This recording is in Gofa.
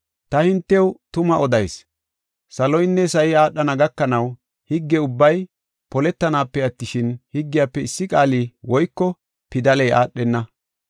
Ta hintew tuma odayis; saloynne sa7i aadhana gakanaw higge ubbay poletanaape attishin, higgiyafe issi qaalay woyko pidaley aadhenna.